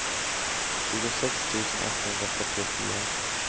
tjugosex tusen etthundrafyrtiofyra